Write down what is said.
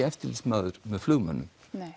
eftirlitsmaður með flugmönnum